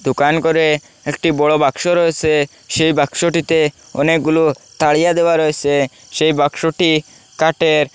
দোকানঘরে একটি বড় বাক্স রয়েসে সেই বাক্সটিতে অনেকগুলো তারিয়া দেওয়া রয়েসে সেই বাক্সটি কাটের ।